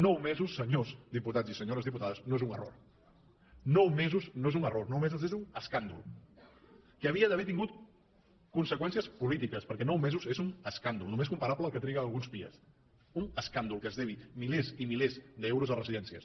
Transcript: nou mesos senyors diputats i senyores diputades no és un error nou mesos no és un error nou mesos és un escàndol que havia d’haver tingut conseqüències polítiques perquè nou mesos és un escàndol només comparable al que triguen alguns pia un escàndol que es deguin milers i milers d’euros a residències